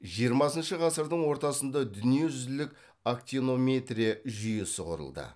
жиырмасыншы ғасырдың ортасында дүниежүзілік актинометрия жүйесі құрылды